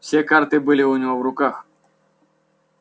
все карты были у него в руках